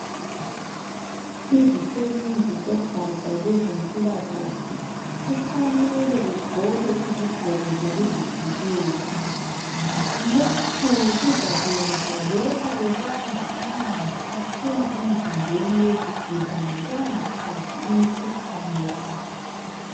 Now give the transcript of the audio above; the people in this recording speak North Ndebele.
izisebenzi zogaja lwezimpilakahle kufanele zigqoke iziqgoko zokuzivikela lokhu kuzakwenza noma bebamba amanzi aphuma emizimbeni yezigulane bangathathi imikhuhlane yabo